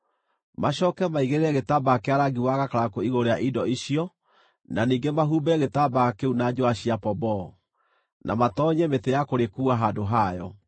Macooke maigĩrĩre gĩtambaya kĩa rangi wa gakarakũ igũrũ rĩa indo icio na ningĩ mahumbĩre gĩtambaya kĩu na njũũa cia pomboo, na matoonyie mĩtĩ ya kũrĩkuua handũ hayo.